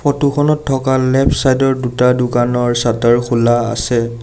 Photo খনত থকা left side ৰ দুটা দোকানৰ চাতাৰ খোলা আছে।